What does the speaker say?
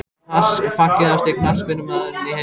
Pass Fallegasti knattspyrnumaðurinn í deildinni?